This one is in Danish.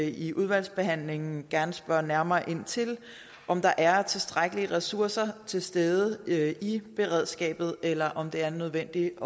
i udvalgsbehandlingen gerne spørge nærmere ind til om der er tilstrækkelige ressourcer til stede i beredskabet eller om det er nødvendigt